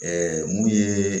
mun ye